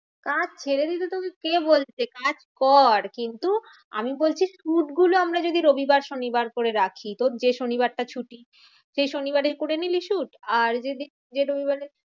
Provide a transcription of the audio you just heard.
কাজ ছেড়ে দিতে তোকে কে বলছে? কাজ কর কিন্তু আমি বলছি shoot গুলো আমরা যদি রবিবার শনিবার করে রাখি। তোর যে শনিবারটা ছুটি। সেই শনিবারেই করে নিলি shoot আর যদি যে রবিবারে